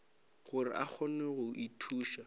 gore a kgone go ithuša